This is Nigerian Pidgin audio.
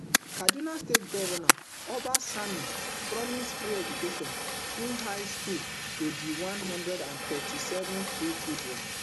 kaduna state govnor uba sani promise free education through high school to di one hundred and thirty-seven freed children